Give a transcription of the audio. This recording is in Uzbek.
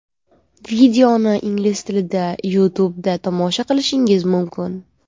Videoni ingliz tilida YouTube’da tomosha qilishingiz mumkin.